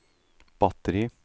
batteri